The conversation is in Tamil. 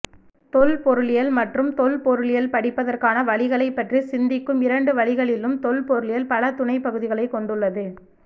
தொல்பொருளியல் மற்றும் தொல்பொருளியல் படிப்பதற்கான வழிகளைப் பற்றி சிந்திக்கும் இரண்டு வழிகளிலும் தொல்பொருளியல் பல துணைப்பகுதிகளைக் கொண்டுள்ளது